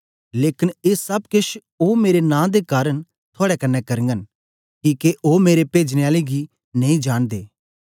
लेकन ए सब केछ ओ मेरे नां दे कारन थुआड़े कन्ने करगन किके ओ मेरे पेजने आले गी नेई जांनदे